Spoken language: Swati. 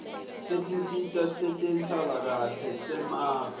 setinsita tetenhlalakahle temave